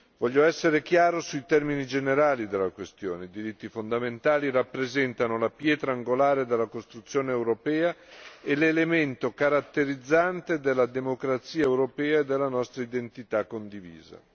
Voglio essere chiaro sui temi generali della questione i diritti fondamentali rappresentano la pietra angolare della costruzione europea e l'elemento caratterizzante della democrazia europea e della nostra identità condivisa.